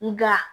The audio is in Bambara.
Nga